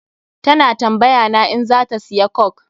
Ta na tambaya na in za ta siya coke.